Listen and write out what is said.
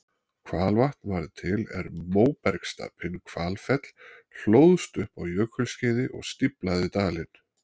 Hvalvatn varð til er móbergsstapinn Hvalfell hlóðst upp á jökulskeiði og stíflaði dalinn.